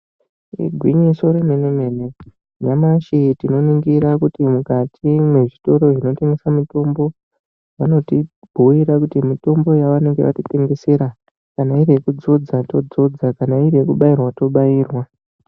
Igwinyiso remene mene ,nyamashi tinoningira kuti mukati mwezvitoro zvinotengesa mitombo ,vanotibhuira kuti mitombo yavanenge vatitengesera kana iri yekudzodza todzodza, kana iri yekubairwa tobairwa.